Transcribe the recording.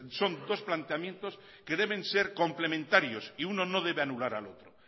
son dos planteamientos que deben ser complementarios y uno no debe anular al otro